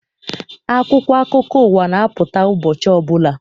Akwụkwọ akụkọ ụwa na-apụta ụbọchị ọbụla.